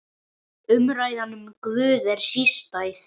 Umræðan um Guð er sístæð.